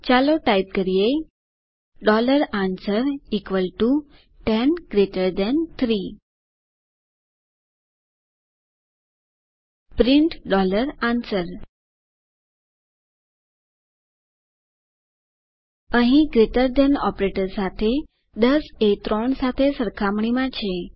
ચાલો ટાઇપ કરીએ answer 10 3 print answer અહીં ગ્રેટર થાન ઓપરેટર સાથે 10 એ 3 સાથે સરખામણીમાં છે